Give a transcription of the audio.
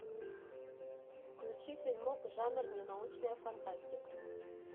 включи фильмок жанр ненаучная фантастика